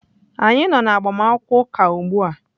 Anyị nọ na agbamakwụkwọ ụka ugbu a.